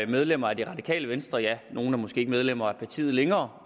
medlemmer af det radikale venstre ja nogle er måske ikke medlemmer af partiet længere